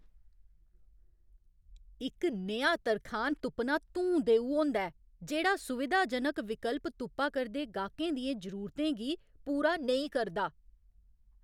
इक नेहा तरखान तुप्पना धूं देऊ होंदा ऐ जेह्ड़ा सुविधाजनक विकल्प तुप्पा करदे गाह्कें दियें जरूरतें गी पूरा नेईं करदा ।